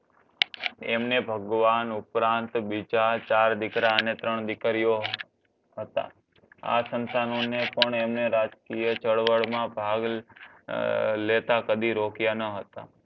એમને ભગવાન ઉપરાંત બીજા ચાર દીકરા અને ત્રણ દીકરીઓ હતા. આ સંતાનોને પણ એમને રાજકીય ચળવળમાં ભાગ લેતા કદી રોક્યા ન હતા.